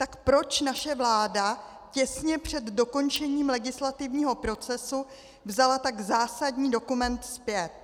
Tak proč naše vláda těsně před dokončením legislativního procesu vzala tak zásadní dokument zpět?